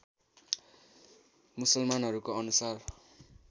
मुसलमानहरूको अनुसार